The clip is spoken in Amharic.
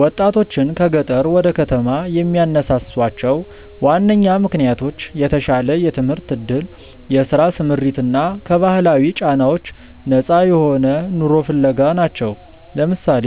ወጣቶችን ከገጠር ወደ ከተማ የሚያነሳሷቸው ዋነኛ ምክንያቶች የተሻለ የትምህርት ዕድል፣ የሥራ ስምሪት እና ከባህላዊ ጫናዎች ነፃ የሆነ ኑሮ ፍለጋ ናቸው። ለምሳሌ፣